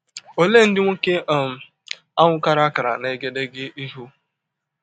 Ole ndị nwoke um ahụ kara akara n’egedege ihu?